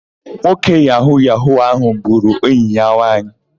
Nwoke yahu-yahu áhụ̀ gburu enyi ya nwaanyị.